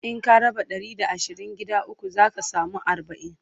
In ka raba Ɗari da asirin gida ukwu zaka samu arbain